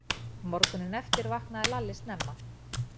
Morguninn eftir vaknaði Lalli snemma.